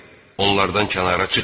Onlardan kənara çıxmayın.